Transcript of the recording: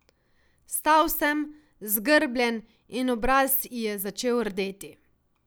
Stal sem, zgrbljen, in obraz ji je začel rdeti.